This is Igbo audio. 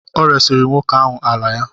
Ọ resiri nwoke ahụ ala ya.